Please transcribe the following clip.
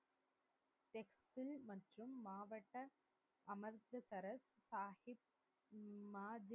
மாதின் மாவட்ட அமிர்தசரஸ் சாகிப் உம்